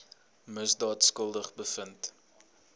misdaad skuldig bevind